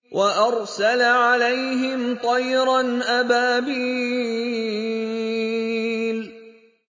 وَأَرْسَلَ عَلَيْهِمْ طَيْرًا أَبَابِيلَ